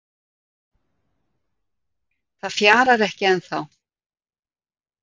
Það fjarar ekki ennþá